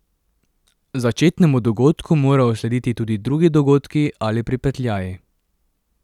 Začetnemu dogodku morajo slediti tudi drugi dogodki ali pripetljaji.